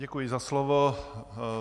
Děkuji za slovo.